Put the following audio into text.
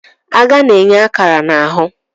Agha na-enye akara na ahụ.